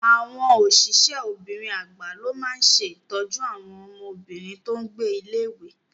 Àwọn osise obìnrin agba ló máa ṣe ìtọ́jú àwọn ọmọbìnrin tó n gbé ilé-ìwé